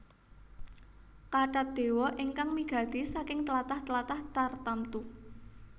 Kathat dewa ingkang migati saking tlatah tlatah tartamtu